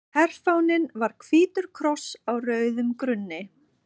Herfáninn var hvítur kross á rauðum grunni.